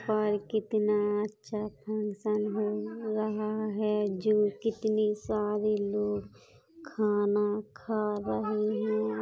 पर कितना अच्छा फंक्शन हो रहा है जो कितने सारे लोग खाना खा रहे है।